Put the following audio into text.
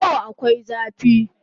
Yau akwai zafi